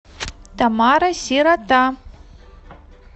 тамара сирота